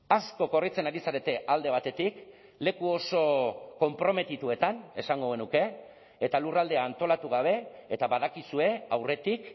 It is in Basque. asko korritzen ari zarete alde batetik leku oso konprometituetan esango genuke eta lurraldea antolatu gabe eta badakizue aurretik